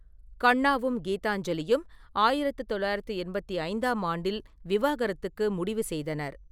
கண்ணாவும் கீதாஞ்சலியும் ஆயிரத்து தொள்ளாயிரத்து எண்பத்தி ஐந்தாம் ஆண்டில் விவாகரத்துக்கு முடிவு செய்தனர்.